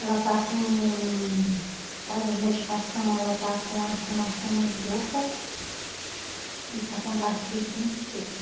Ela está com, por causa das medicação, ela tá com a inflamação no esôfago e está com a gastrite muito feia.